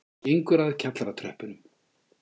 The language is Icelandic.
Gengur að kjallaratröppunum.